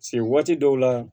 waati dɔw la